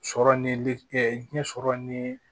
Sɔrɔ ni liɲɛ sɔrɔ ni